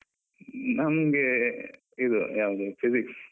ನಮ್ಗೆ ಇದು ಯಾವುದು Physics .